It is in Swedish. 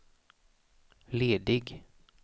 ledig